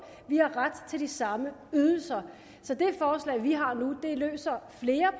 har ret til de samme ydelser så det forslag vi har nu løser flere